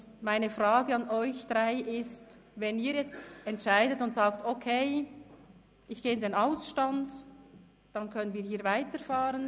Und meine Frage an Sie drei: Wenn Sie jetzt entscheiden und sagen, «Okay, ich gehe in den Ausstand», dann können wir hier weiterfahren.